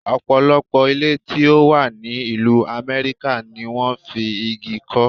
Ọ̀pọ̀lọpọ̀ ilé tí ó wà ní ìlú Amẹ́ríkà ni wón fi igi kọ́.